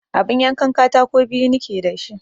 Abun yankan katako biyu nike da shi